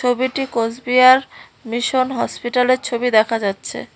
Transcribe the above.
ছবিটি কোচবিহার মিশন হসপিটালের ছবি দেখা যাচ্ছে।